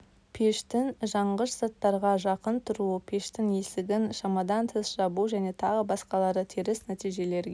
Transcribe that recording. пештің жанғыш заттарға жақын тұруы пештің есігін шамадан тыс жабу және тағы басқалары теріс нәтижелерге